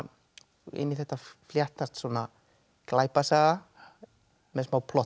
inn í þetta fléttast svona glæpasaga með smá plotti